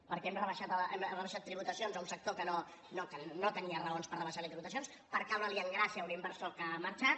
perquè hem rebaixat tributacions a un sector que no tenia raons per rebaixar li tributacions per caure li en gràcia a un inversor que ha marxat